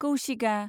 कौशिगा